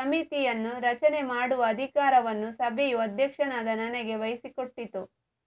ಸಮಿತಿಯನ್ನು ರಚನೆ ಮಾಡುವ ಅಧಿಕಾರವನ್ನು ಸಭೆಯು ಅಧ್ಯಕ್ಷನಾದ ನನಗೆ ವಹಿಸಿಕೊಟ್ಟಿತು